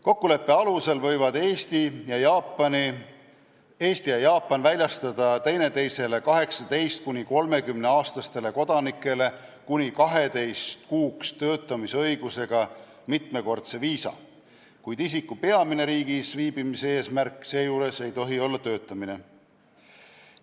Kokkuleppe alusel võivad Eesti ja Jaapan väljastada teineteise 18–30-aastastele kodanikele kuni 12 kuuks töötamisõigusega mitmekordse viisa, kuid isiku riigis viibimise peamine eesmärk ei tohi seejuures olla töötamine.